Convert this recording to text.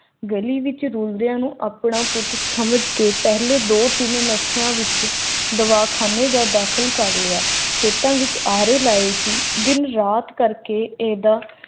ਗਲੀ ਵਿੱਚ ਰੁਲਦਿਆਂ ਨੂੰ ਆਪਣਾ ਪੁੱਤ ਸਮਝ ਕੇ ਪਹਿਲੇ ਦੋ-ਤਿੰਨ ਹਫ਼ਤਿਆਂ ਵਿਚ ਦਵਾਖਾਨੇ ਦਾਖਲ ਕਰਵਾਇਆ ਗਿਆ ਹੈ